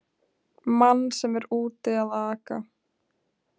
Mann sem er úti að aka!